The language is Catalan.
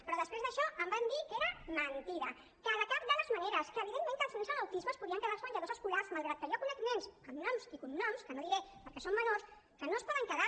però després d’això em van dir que era mentida que de cap de les maneres que evidentment que els nens amb autisme es podien quedar als menjadors escolars malgrat que jo conec nens amb noms i cognoms que no diré perquè són menors que no es poden quedar